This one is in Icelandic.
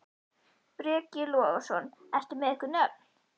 Breki Logason: Ertu með einhver nöfn?